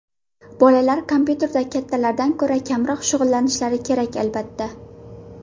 Bolalar kompyuterda kattalardan ko‘ra kamroq shug‘ullanishlari kerak, albatta.